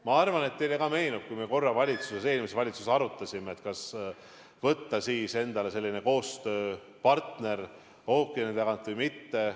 Ma arvan, et ka teile meenub, kuidas me korra eelmises valitsuses arutasime, kas võta endale selline koostööpartner ookeani tagant või mitte.